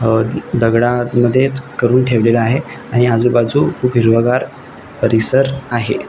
अ दगडा मध्ये च करुन ठेवलेला आहे आणि आजु बाजु खुप हिरवगार परिसर आहे.